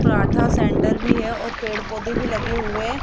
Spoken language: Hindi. पराठा सेंटर भी है और पेड़ पौधे भी लगे हुए--